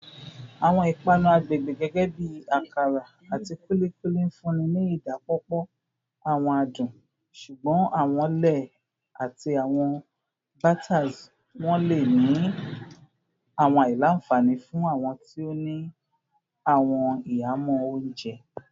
Awọn ipanu agbegbe gẹgẹbi akara ati kulikuli nfunni ni idapọpọ awọn adun, ṣugbọn awọn lẹẹ ati awọn batters wọn le ni awọn alailanfani fun awọn ti o ni awọn ihamọ ounjẹ.